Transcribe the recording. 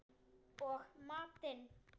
Og matinn